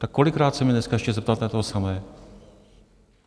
Tak kolikrát se mě dneska ještě zeptáte na to samé?